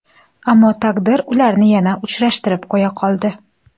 Ammo taqdir ularni yana uchrashtirib qo‘ya qoldi.